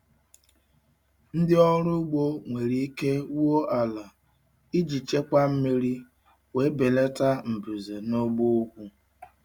Ndị ọrụ ugbo nwere ike wuo ala iji chekwaa mmiri wee belata mbuze na ugbo ugwu.